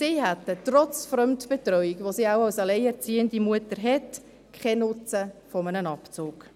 Sie hätten, trotz Fremdbetreuung, die eine alleinerziehende Mutter wohl hat, keinen Nutzen von einem Abzug.